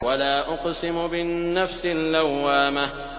وَلَا أُقْسِمُ بِالنَّفْسِ اللَّوَّامَةِ